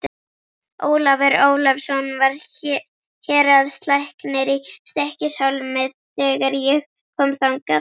Ólafur Ólafsson var héraðslæknir í Stykkishólmi þegar ég kom þangað.